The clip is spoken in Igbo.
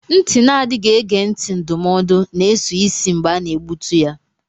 Ntị na-adịghị ege ntị ndụmọdụ na-eso isi mgbe a na-egbutu ya.